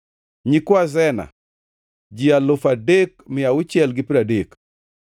nyikwa Sena, ji alufu adek mia auchiel gi piero adek (3,630).